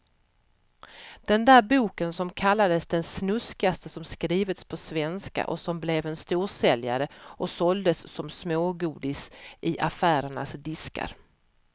Den där boken som kallades det snuskigaste som skrivits på svenska och som blev en storsäljare och såldes som smågodis i affärernas diskar.